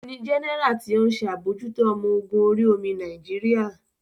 Ohun ni Jẹ́nẹ́rà tí ó ń ṣe àbójútó ọmọ ogun orí omi Nàìjíríà